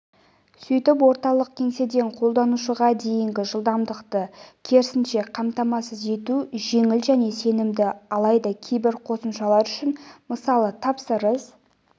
сөйтіп орталық кеңседен қолданушыға дейінгі жылдамдықты керісінше қамтамасыз ету жеңіл және сенімді алайда кейбір қосымшалар үшін мысалы тапсырыс